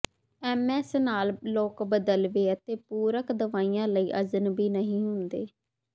MS ਨਾਲ ਲੋਕ ਬਦਲਵੇਂ ਅਤੇ ਪੂਰਕ ਦਵਾਈਆਂ ਲਈ ਅਜਨਬੀ ਨਹੀਂ ਹੁੰਦੇ